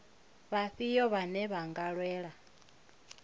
vhafhio vhane vha nga lwela